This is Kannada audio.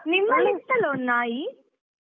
ನಿಮ್ಮ ಒಂದು ನಾಯಿ.